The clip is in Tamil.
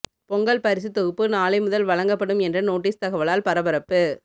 பொங்கல் பரிசுத் தொகுப்பு நாளை முதல் வழங்கப்படும் என்ற நோட்டீஸ் தகவலால் பரபரப்பு